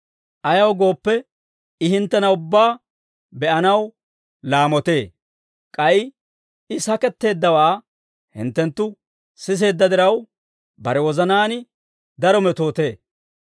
Ayaw gooppe, I hinttena ubbaa be'anaw laamotee; k'ay I saketteeddawaa hinttenttu siseedda diraw, bare wozanaan daro metootee.